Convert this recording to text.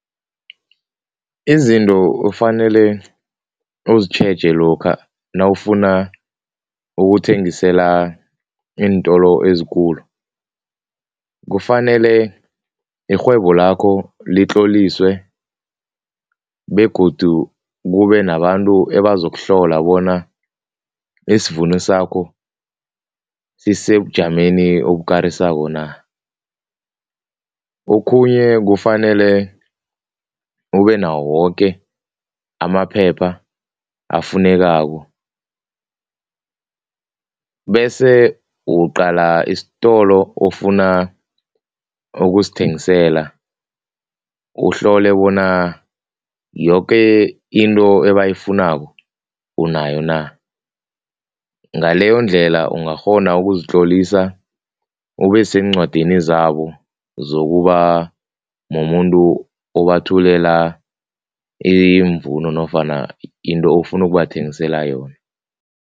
Izinto ofanele uzitjheja lokha nawufuna ukuthengisela iintolo ezikulu, kufanele irhwebo lakho litloliswe begodu kube nabantu ebazokuhlola bona isvuno sakho sisebujameni obukarisako na. Okhunye kufanele ubenawo woke amaphepha afunekako bese uqala isitolo ofuna ukusithengisela, uhlole bona yoke into ebayifunako unayo na, ngaleyondlela ungakghona ukuzitlolisa ubeseencwadini zabo zokuba mumuntu obathulela iimvuno nofana into ofuna ukubathengisela yona.